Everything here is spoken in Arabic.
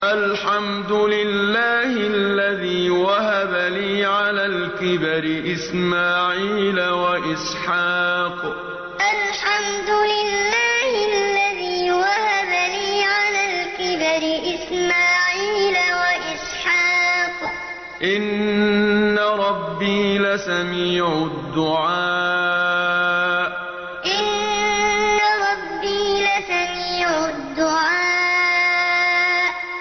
الْحَمْدُ لِلَّهِ الَّذِي وَهَبَ لِي عَلَى الْكِبَرِ إِسْمَاعِيلَ وَإِسْحَاقَ ۚ إِنَّ رَبِّي لَسَمِيعُ الدُّعَاءِ الْحَمْدُ لِلَّهِ الَّذِي وَهَبَ لِي عَلَى الْكِبَرِ إِسْمَاعِيلَ وَإِسْحَاقَ ۚ إِنَّ رَبِّي لَسَمِيعُ الدُّعَاءِ